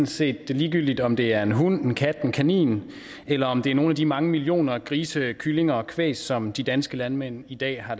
set ligegyldigt om det er en hund en kat en kanin eller om det er nogle af de mange millioner grise kyllinger og kvæg som de danske landmænd i dag har